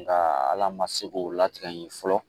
Nka ala ma se k'o latigɛ ye fɔlɔ